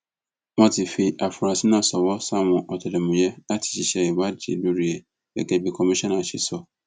wọn ti fi àfúrásì náà ṣọwọ sáwọn ọtẹlẹmúyẹ láti ṣiṣẹ ìwádìí lórí ẹ gẹgẹ bí kọmíṣánná ṣe sọ